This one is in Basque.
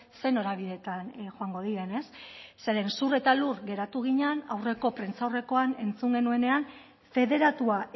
ze norabidetan joango diren ez zeren zur eta lur geratu ginen aurreko prentsaurrekoan entzun genuenean federatua